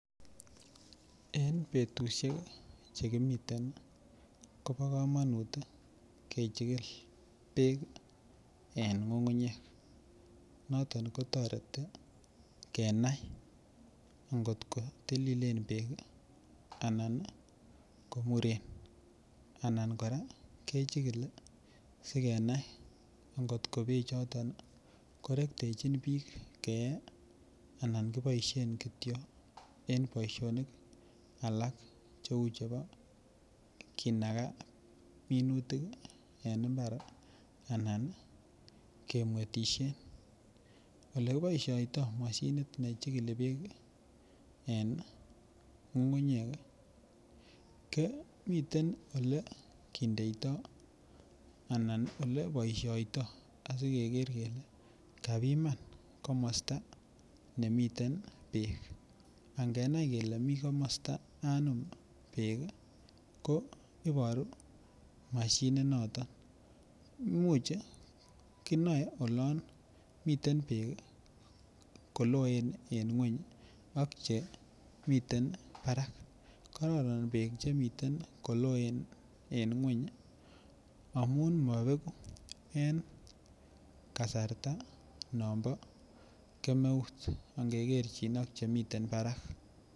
En betusiek Che kimi kobo kamanut kechikil bek en ngungunyek noton ko toreti kenai angot ko tililen anan ko muren anan kora kechikili asikenai angot ko bechoto korektechin bik keyee anan kiboisien kityo en boisionik alak Cheu chebo kinaga minutik en mbar anan kemwetisien Ole kiboisioto moshinit nechikili bek en ngungunyek komiten Ole kindeito anan Ole boisioito asikeger kele kabiman komosta nemiten bek angenai kele mi kele mi komosta anum bek ko Iboru mashinit noton kinoe oloon miten koloen en ngwony ak chemiten barak karoron bek Che miten koloen en ngwony amun en kasarta non bo kemeut angekerchin ak chemiten barak